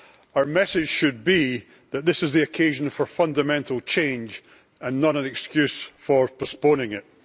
Our message should be that this is the occasion for fundamental change and not an excuse for postponing it.